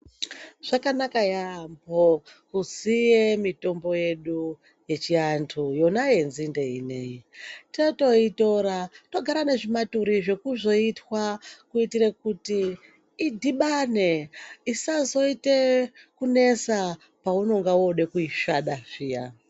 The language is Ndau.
Zvakanaka yambo kuziye mitombo yedu yechiantu yona yenzinde ineyi. Tatoyitora togara nezvimaturi ,zvekuzoyitwa kuyitire kuti idhibane isazoyite kunesa paunonga woda kuyisvada zviya.